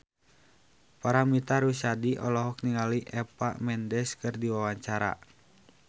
Paramitha Rusady olohok ningali Eva Mendes keur diwawancara